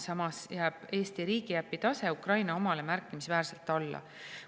Samas jääb Eesti riigiäpi tase Ukraina omale märkimisväärselt alla.